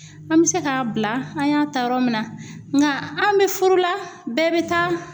An bɛ se k'a bila an y'a ta yɔrɔ min na, nka an bɛ furu la bɛɛ bɛ taa